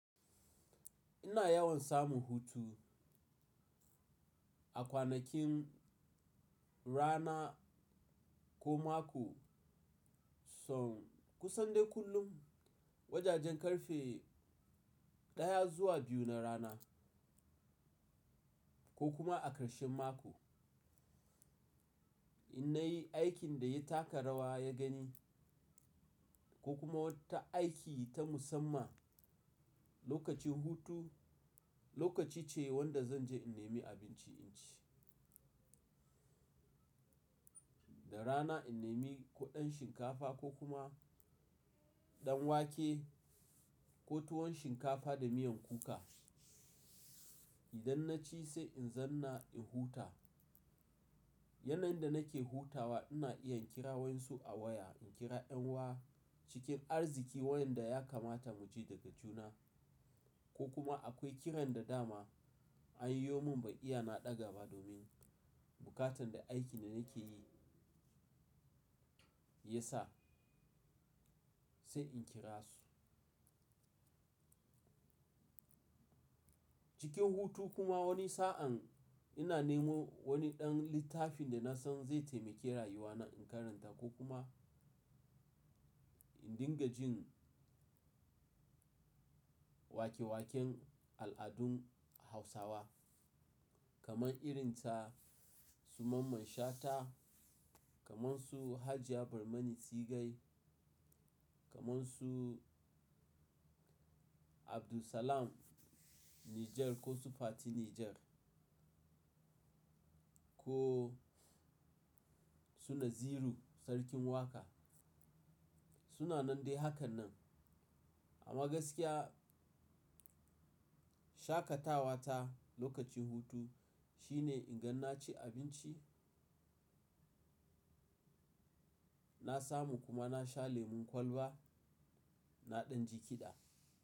Ina yawan samun hutu. A kwanakin rana ko mako, son kusan dai kullum wajajen ƙarfe ɗaya zuwa biyu na rana ko kuma a ƙarshen mako. Na yi aikin da ya taka rawa ya gani ko kuma wata aiki ta musamman lokacin hutu, lokaci ce wanda zan je in nemi abinci in ci. Da rana in nemi ko ɗan shinkafa ko kuma ɗan wake ko tuwon shinkafa da miyan kuka. Idan na ci sai in zanna in huta. Yanayin da nake hutawa ina iya kira wayensu a waya, in kira ƴan'uwa cikin arziki wayanda ya kamata mu ji daga juna ko kuma akwai kiran da dama an yo mun ban iya naɗa gaba domin bukatan da aikin da nake yi ya sa sai in kira su. Cikin hutu kuma wani sa'an ina nemo wani ɗan littafin da na san zai taimaki rayuwa na in karanta ko kuma in dinga jin wake-waken al'adun Hausawa kamar irin ta Su mamman shata, kamar su Hajiya Barmani Sigai, kamar su Abdulsalam Niger ko Sufati Niger ko suna Ziru Sarkin Waka. Suna nan dai hakan nan. Amma gaskiya, shakatawa ta lokacin hutu shine in gan na ci abinci, na samu kuma na sha lemon kwalba, na ɗan ji kiɗa.